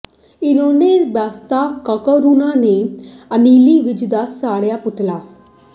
ਇਨੈਲੋ ਅਤੇ ਬਸਪਾ ਕਾਰਕੁਨਾਂ ਨੇ ਅਨਿਲ ਵਿਜ ਦਾ ਸਾੜਿਆ ਪੁਤਲਾ